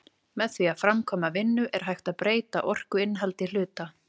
Með því að framkvæma vinnu er hægt að breyta orkuinnihaldi hluta.